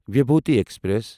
Vibhuti express